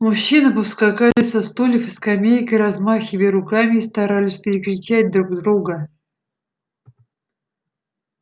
мужчины повскакали со стульев и скамеек и размахивая руками старались перекричать друг друга